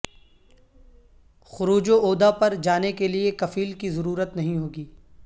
خروج وعودہ پر جانے کے لیے کفیل کی ضرورت نہیں ہو گی